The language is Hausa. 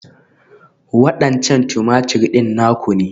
Waɗancan Tumatir ɗin naku ne?